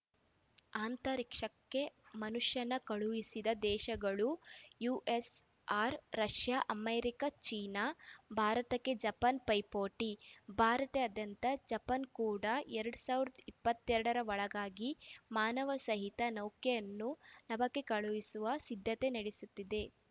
ಅಂತರಿಕ್ಷಕ್ಕೆ ಮನುಷ್ಯನ ಕಳುಹಿಸಿದ ದೇಶಗಳು ಯುಎಸ್‌ಆರ್‌ ರಷ್ಯಾ ಅಮೆರಿಕ ಚೀನಾ ಭಾರತಕ್ಕೆ ಜಪಾನ್‌ ಪೈಪೋಟಿ ಭಾರತದಂತೆ ಜಪಾನ್‌ ಕೂಡ ಎರಡ್ ಸಾವಿರದ ಇಪ್ಪತ್ತೆರಡ ರ ಒಳಗಾಗಿ ಮಾನವ ಸಹಿತ ನೌಕೆಯನ್ನು ನಭಕ್ಕೆ ಕಳುಹಿಸಲು ಸಿದ್ಧತೆ ನಡೆಸುತ್ತಿದೆ